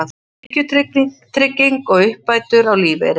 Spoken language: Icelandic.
Tekjutrygging og uppbætur á lífeyri.